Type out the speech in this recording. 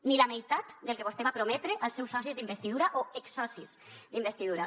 ni la meitat del que vostè va prometre als seus socis d’investidura o exsocis d’investidura